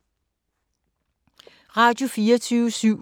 Radio24syv